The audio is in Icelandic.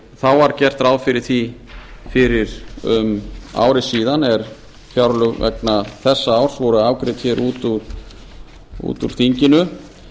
þá var gert ráð fyrir því fyrir um ári síðan er fjárlög vegna þessa árs voru afgreidd hér út úr þinginu